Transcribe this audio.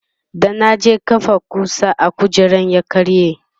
da na je kafa kusa a kujera ya karye